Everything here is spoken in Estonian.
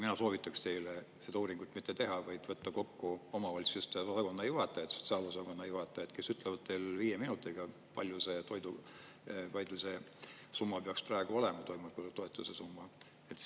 Mina soovitaks teile seda uuringut mitte teha, vaid võtta kokku omavalitsuste osakonnajuhatajad, sotsiaalosakonna juhatajad, kes ütlevad viie minutiga, palju see …… summa peaks praegu olema, toimetulekutoetuse summa.